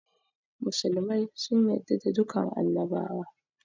Musulmai sun yarda da dukan annabawa